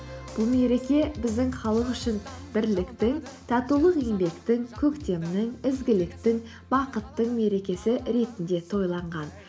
бұл мереке біздің халық үшін бірліктің татулық еңбектің көктемнің ізгіліктің бақыттың мерекесі ретінде тойланған